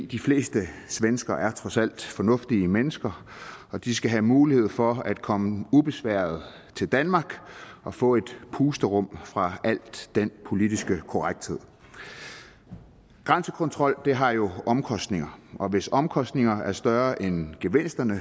de fleste svenskere er trods alt fornuftige mennesker og de skal have mulighed for at komme ubesværet til danmark og få et pusterum fra al den politiske korrekthed grænsekontrol har jo omkostninger og hvis omkostningerne er større end gevinsterne